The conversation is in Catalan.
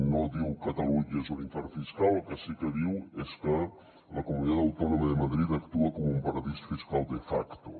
no diu catalunya és un infern fiscal el que sí que diu és que la comunidad autònoma de madrid actua com un paradís fiscal de facto